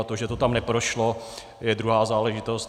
A to, že to tam neprošlo, je druhá záležitost.